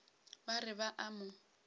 ba re ba a mo